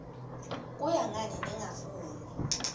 kuya ngani ningafuni